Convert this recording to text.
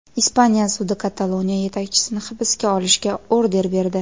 Ispaniya sudi Kataloniya yetakchisini hibsga olishga order berdi.